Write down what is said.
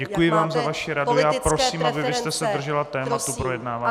Děkuji vám za vaši radu a prosím, abyste se držela tématu projednávání.